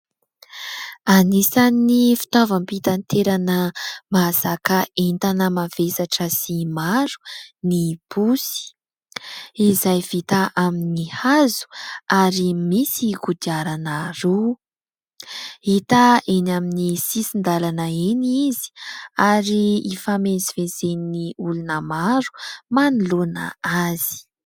Anisan'ny fitaovam-pitaterana mahazaka entana mavesatra sy maro ny posy, izay vita amin'ny hazo ary misy kodiarana roa. Hita eny amin'ny sisin-dalana eny izy ary hifamezivezen'ny olona maro manoloana azy.